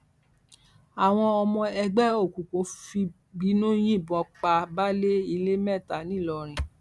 àwọn ọmọ ẹgbẹ òkùnkùn fìbínú yìnbọn pa baálé ilé mẹta ńìlọrin